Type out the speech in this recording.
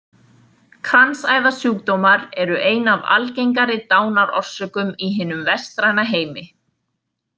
Kransæðasjúkdómar eru ein af algengari dánarorsökum í hinum vestræna heimi.